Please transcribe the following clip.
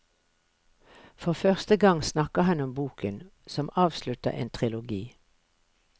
For første gang snakker han om boken, som avslutter en trilogi.